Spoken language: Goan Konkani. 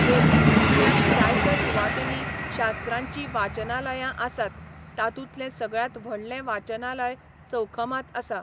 लोहित जिल्ह्यांत जायत्या सुवातींनी शास्त्रांचीं वाचनालयां आसात, तातूंतलें सगळ्यांत व्हडलें वाचनालय चौखमांत आसा.